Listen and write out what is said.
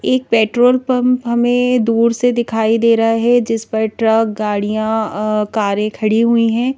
एक petrol pump हमें दूर से दिखाई दे रहा है जिस पर ट्रक गाड़ियां कारें खड़ी हुई है।